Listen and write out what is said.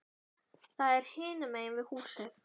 Það er hinum megin við húsið.